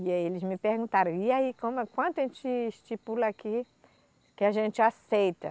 E aí eles me perguntaram, e aí como quanto a gente estipula aqui que a gente aceita?